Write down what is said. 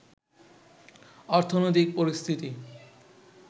অর্থনৈতিক পরিস্থিতি